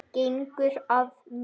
Gengur að mér.